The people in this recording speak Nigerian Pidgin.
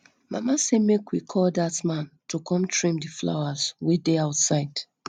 mama say make we call dat man to come trim the flowers wey dey outside